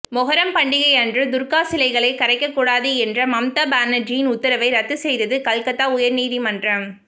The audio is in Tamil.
மொஹரம் பண்டிகை அன்று துர்கா சிலைகளை கரைக்கக்கூடாது என்ற மம்தா பானர்ஜியின் உத்தரவை ரத்து செய்தது கல்கத்தா உயர்நீதிமன்றம்